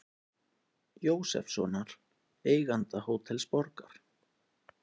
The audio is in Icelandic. Jósefssonar, eiganda Hótels Borgar.